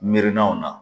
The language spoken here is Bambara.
Miirinanw na